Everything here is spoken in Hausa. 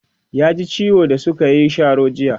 ya ji ciwo da sukayi Sharo jiya